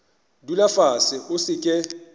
dula fase o se ke